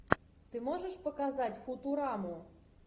ты можешь показать футураму